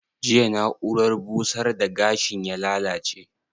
Jiya na'urar busar da gashin ya lallace?